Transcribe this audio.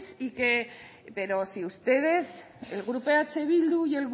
pero si ustedes el grupo eh bildu y